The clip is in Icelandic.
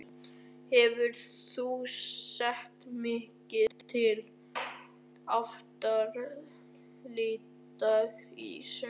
Hefur þú séð mikið til Aftureldingar í sumar?